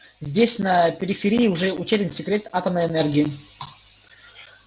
здесь на периферии уже утерян секрет атомной энергии